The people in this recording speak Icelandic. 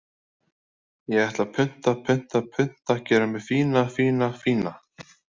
Ég ætla að punta, punta, punta Gera mig fína, fína, fína.